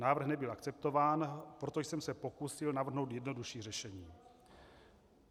Návrh nebyl akceptován, proto jsem se pokusil navrhnout jednodušší řešení.